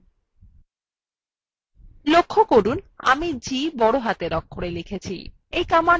লক্ষ্য করুন আমি g বড় হাতের অক্ষরে লিখেছি